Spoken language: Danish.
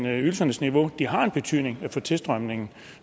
at ydelsernes niveau har en betydning for tilstrømningen